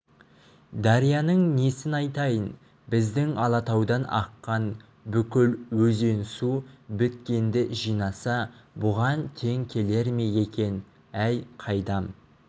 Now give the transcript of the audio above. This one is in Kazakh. дарияның несін айтайын біздің алатаудан аққан бүкіл өзен-су біткенді жинаса бұған тең келер ме екен әй қайдам